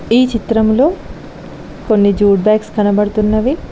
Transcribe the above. ఈ చిత్రంలో కొన్ని జూడ్ బ్యాగ్స్ కనబడుతున్నవి.